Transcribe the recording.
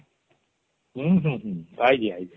ହୁଁହୁଁହୁଁ